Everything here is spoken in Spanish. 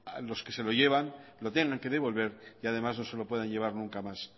los que se llevan lo tengan que devolver y además no se lo puedan llevar nunca más